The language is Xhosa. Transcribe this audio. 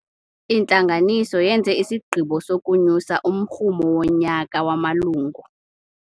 Intlanganiso yenze isigqibo sokunyusa umrhumo wonyaka wamalungu.